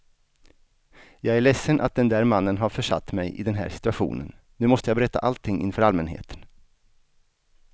Jag är ledsen att den där mannen har försatt mig i den här situationen, nu måste jag berätta allting inför allmänheten.